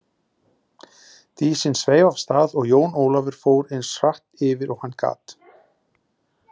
Dísin sveif af stað og Jón Ólafur fór eins hratt yfir og hann gat.